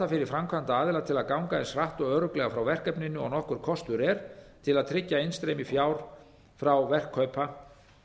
fyrir framkvæmdaaðila til að ganga eins hratt og örugglega frá verkefninu og nokkur kostur er til að tryggja innstreymi fjár frá verkkaupa